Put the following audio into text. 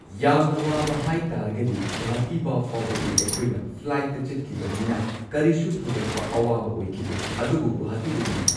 ꯌꯥꯝꯅ ꯋꯥꯕ ꯍꯥꯏ ꯇꯥꯔꯒꯗꯤ ꯒꯧꯍꯥꯇꯤꯕꯧ ꯐꯥꯎꯕꯗꯤ ꯑꯩꯈꯣꯏꯅ ꯐ꯭ꯂꯥꯏꯠꯇ ꯆꯠꯈꯤꯕꯅꯤꯅ ꯀꯔꯤꯁꯨ ꯊꯣꯏꯗꯣꯛꯄ ꯑꯋꯥꯕ ꯑꯣꯏꯈꯤꯗꯦ ꯑꯗꯨꯕꯨ ꯒꯧꯍꯥꯇꯤꯗꯒꯤꯅꯤ꯫